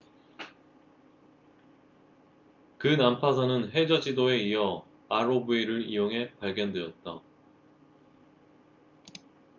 그 난파선은 해저 지도에 이어 rov를 이용해 발견되었다